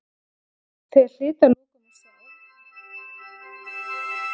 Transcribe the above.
Þeir hlytu að lokum að sjá að þetta væri eina færa leiðin út úr ógöngunum.